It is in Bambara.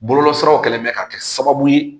Bɔlɔlɔsiraw kɛlen bɛ ka kɛ sababu ye